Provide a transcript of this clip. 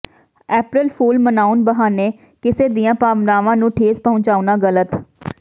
ਅਪ੍ਰੈਲ fool ਮਨਾਉਣ ਬਹਾਨੇ ਕਿਸੇ ਦੀਆਂ ਭਾਵਨਾਵਾਂ ਨੂੰ ਠੇਸ ਪਹੁੰਚਾਉਣਾ ਗਲਤ